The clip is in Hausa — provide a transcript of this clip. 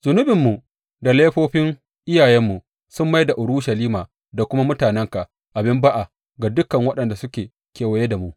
Zunubinmu da laifofin iyayenmu sun mai da Urushalima da kuma mutanenka abin ba’a ga dukan waɗanda suke kewaye da mu.